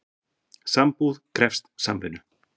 Sambúð krefst samvinnu.